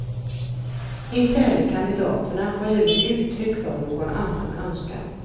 Inte heller kandidaterna har givit uttryck för någon annan önskan.